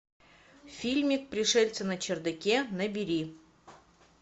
фильмик пришельцы на чердаке набери